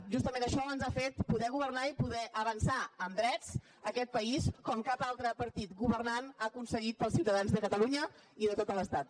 justament això ens ha fet poder governar i poder avançar en drets en aquest país com cap altre partit governant ho ha aconseguit per als ciutadans de catalunya i de tot l’estat